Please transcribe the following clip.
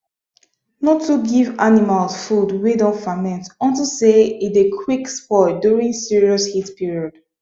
no too give animals food wey don ferment unto say e dey quick spoil during serious heat period